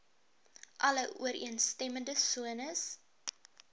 alle ooreenstemmende sones